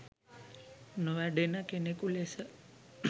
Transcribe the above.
නොවැඩෙන කෙනෙකු ලෙස